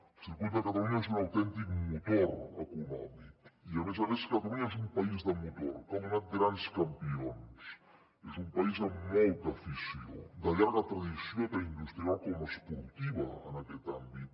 el circuit de catalunya és un autèntic motor econòmic i a més a més catalunya és un país de motor que ha donat grans campions és un país amb molta afició de llarga tradició tant industrial com esportiva en aquest àmbit